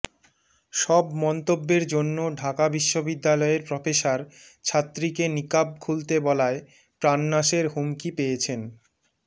সব মন্তব্যের জন্য ঢাকা বিশ্ববিদ্যালয়য়ের প্রফেসর ছাত্রীকে নিকাব খুলতে বলায় প্রাণ নাশের হুমকি পেয়েছেন